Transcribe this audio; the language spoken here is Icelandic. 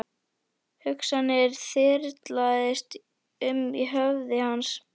Hugsanir þyrlast um í höfði hans.